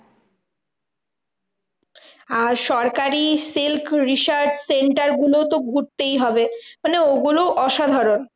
আর সরকারি silk research centre গুলোও তো ঘুরতে হবে মানে ওগুলোও অসাধারণ।